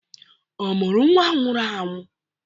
Ọ mụrụ nwa nwụrụ anwụ?